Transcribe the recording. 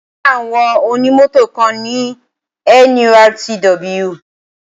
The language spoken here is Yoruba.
Ẹgbẹ́ àwọn onímọ̀tò kan ni NURTW.